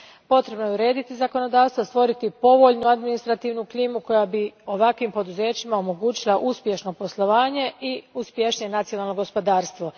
Potrebno je urediti zakonodavstvo, stvoriti povoljnu administrativnu klimu koja bi ovakvim poduzećima omogućila uspješno poslovanje i uspješnije nacionalno gospodarstvo.